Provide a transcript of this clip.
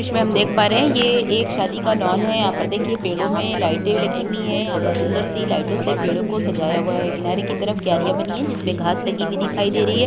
इसमें हम देख पा रहे हैं ये एक शादी का लॉन है। यहाँ पर देखिए पेड़ों में लाइटे लगी हुई है। यहाँ पर सुंदर सी लाइटों से पेड़ों को सजाया हुआ है किनारे की तरफ कियारिया बनी है जिसमें घास लगी हुई दिखाई दे रही है।